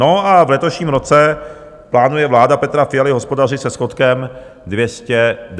No a v letošním roce plánuje vláda Petra Fialy hospodařit se schodkem 295 miliard korun.